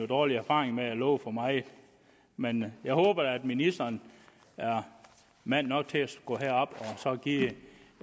dårlig erfaring med at love for meget men jeg håber da at ministeren er mand nok til at gå herop og give et